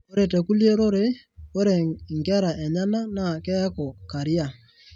ore tekulie rorei, ore inkera enyenak naa keeku carrier.